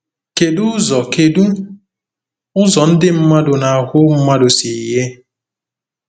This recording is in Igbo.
Kedu ụzọ Kedu ụzọ ndị mmadụ na ahụ mmadụ si yie?